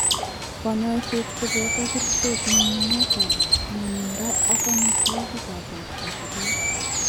Kanyaishet ko boto kerchek ,nyunyumet ab mwanindo ak amitwakik ab borto che beek.